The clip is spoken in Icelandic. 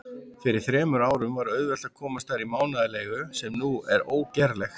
Fyrir þremur árum var auðvelt að komast þar í mánaðarleigu, sem nú er ógerlegt.